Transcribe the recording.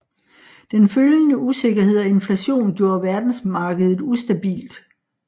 Den følgende usikkerhed og inflation gjorde verdensmarkedet ustabilt